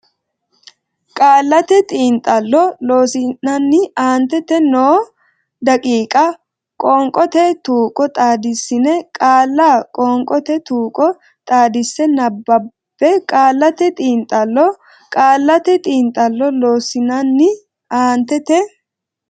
Qaallate Xiinxallo Loossinanni aantete noo daqiiqa qoonqote tuqqo xaaddissine qaalla Qoonqote Tuqqo Xaadisa nabbabbe Qaallate Xiinxallo Qaallate Xiinxallo Loossinanni aantete.